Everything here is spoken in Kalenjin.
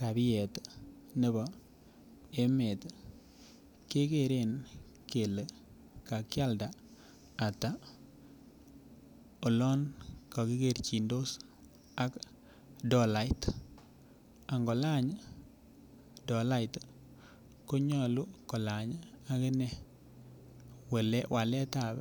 rabiet nebo emet kegeren kele kakialda ata olon kakikerchindos ak dolait angolany dolait konyolu kolany akine waletab